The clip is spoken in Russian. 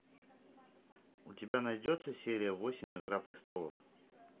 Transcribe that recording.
у тебя найдется серия восемь игра престолов